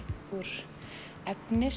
úr efni